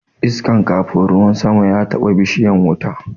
Iskan kafun ruwan sama ya taɓa bishiyan wuta